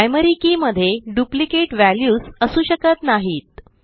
primary key मध्ये duplicate values असू शकत नाहीत